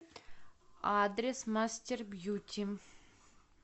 адрес мастербьюти